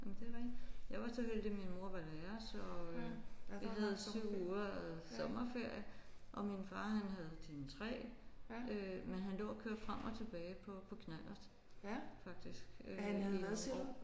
Jamen det er rigtigt. Jeg var så heldig min mor var lærer så øh jeg havde 7 uger sommerferie og min far han havde sådan 3 øh men han lå og kørte frem og tilbage på på knallert faktisk i nogle år